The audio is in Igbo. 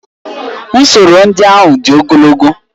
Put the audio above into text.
Usoro ndị ahụ dị ogologo